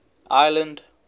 ireland